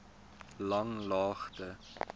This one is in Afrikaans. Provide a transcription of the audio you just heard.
langlaagte